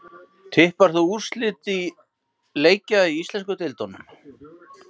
Tippar þú á úrslit leikja í íslensku deildunum?